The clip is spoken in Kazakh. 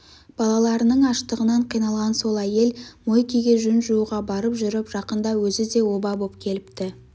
балаларының аштығынан қиналған сол әйел мойкеге жүн жууға барып жүріп жақында өзі де оба боп келіпті